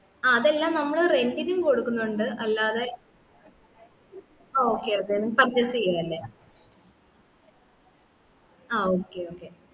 ആ അതെല്ലാം നമ്മള് rent ഇനും കൊടുക്കുന്നുണ്ട് അല്ലാത okay അതെ purchase ചെയലല്ലേ ആ okay okay